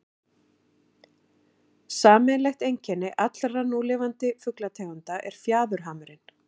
sameiginlegt einkenni allra núlifandi fuglategunda er fjaðurhamurinn